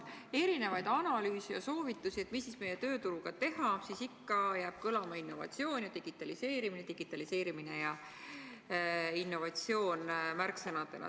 Kui lugeda analüüse ja soovitusi, mida meie tööturuga teha, siis ikka jäävad märksõnadena kõlama innovatsioon ja digitaliseerimine, digitaliseerimine ja innovatsioon.